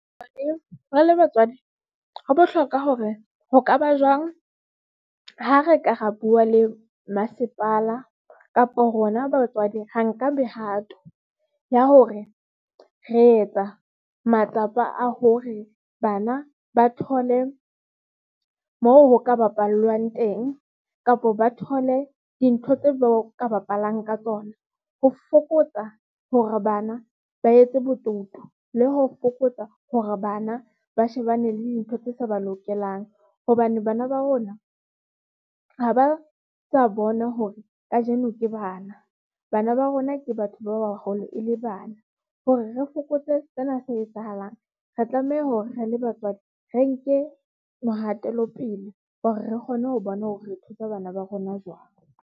Re le batswadi ho bohlokwa hore ho ka ba jwang ha re ka ra bua le Mmasepala kapo rona batswadi ra nka mehato ya hore re etsa matsapa a hore bana ba thole moo ho ka bapallwang teng. Kapa ba thole dintho tseo ba ka bapalang ka tsona ho fokotsa hore bana ba etse botoutu le ho fokotsa hore bana ba shebane le dintho tse sa ba lokelang hobane bana ba rona ha ba sa bona hore kajeno ke bana. Bana ba rona, ke batho ba baholo e le bana. Hore re fokotse sena se etsahalang, re tlameha hore re le batswadi re nke mohatelo pele hore re kgone ho bona hore re thusa bana ba rona jwang.